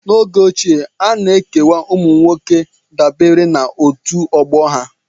N'oge ochie, a na-ekewa ụmụ nwoke dabere na otu ọgbọ ha